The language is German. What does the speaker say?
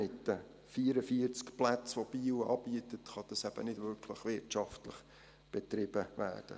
Mit den 44 Plätzen, die Biel anbietet, kann es eben nicht wirklich wirtschaftlich betrieben werden.